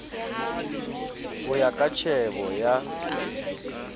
ho ya ka tjhebo ya